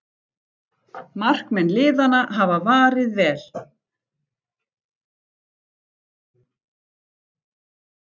Markmenn liðanna hafa varið vel